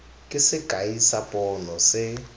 ke sekai sa pono se